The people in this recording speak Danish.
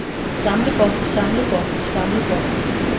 samlebånd samlebånd samlebånd